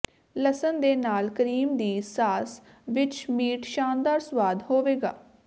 ਲਸਣ ਦੇ ਨਾਲ ਕਰੀਮ ਦੀ ਸਾਸ ਵਿੱਚ ਮੀਟ ਸ਼ਾਨਦਾਰ ਸੁਆਦ ਹੋਵੇਗਾ